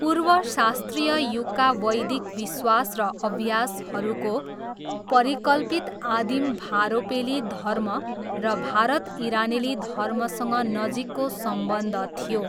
पूर्वशास्त्रीय युगका वैदिक विश्वास र अभ्यासहरूको परिकल्पित आदिम भारोपेली धर्म र भारत इरानेली धर्मसँग नजिकको सम्बन्ध थियो।